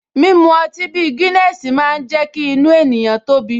Mímu ọtí bí Guiness máa ń jẹ́ kí inú ènìyàn tóbi